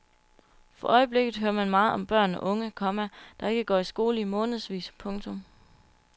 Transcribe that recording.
For øjeblikket hører man meget om børn og unge, komma der ikke går i skole i månedsvis. punktum